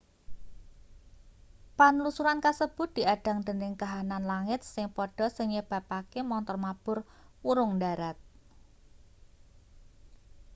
panlusuran kasebut diadhang dening kahanan langit sing padha sing nyebabake montor mabur wurung ndharat